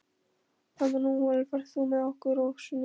Emanúel, ferð þú með okkur á sunnudaginn?